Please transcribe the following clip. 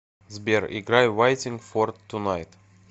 сбер играй вайтинг фор тунайт